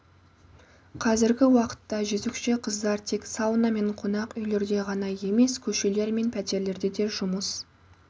қазіргі уақытта жөзекші қыздар тек сауна мен қонақ үйлерде ғана емес көшелер мен пәтерлерде де жұмыс